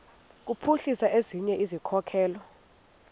kuphuhlisa ezinye izikhokelo